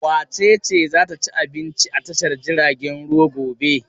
Wace ce za ta ci abinci a tashar jiragen ruwa gobe?